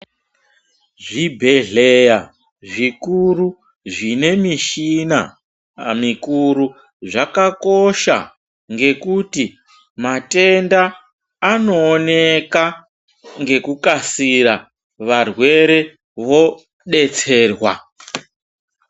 Zvibhedhleya zvikuru zvine mishina mikuru, zvakakosha ngekuti matenda anooneka ngekukasira varwere vodetserwa.